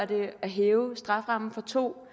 det at hæve strafferammen fra to